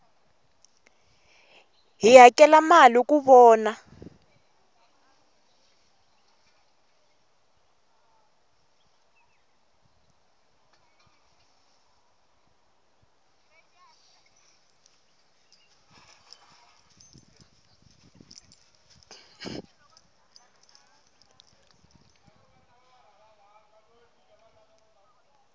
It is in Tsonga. hi hakela mali ku vona